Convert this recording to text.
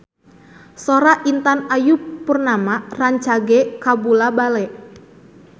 Sora Intan Ayu Purnama rancage kabula-bale